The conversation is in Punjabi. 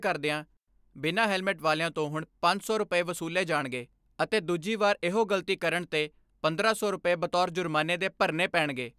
ਕਰਦਿਆਂ ਬਿਨਾ ਹੈਲਮੇਟ ਵਾਲਿਆਂ ਤੋਂ ਹੁਣ ਪੰਜ ਸੌ ਰੁਪਏ ਵਸੂਲੇ ਜਾਣਗੇ ਅਤੇ ਦੂਜੀ ਵਾਰ ਇਹੋ ਗਲਤੀ ਕਰਣ ਤੇ ਪੰਦਰਾਂ ਸੌ ਰੁਪਏ ਬਤੌਰ ਜੁਰਮਾਨੇ ਦੇ ਭਰਣੇ ਪੈਣਗੇ।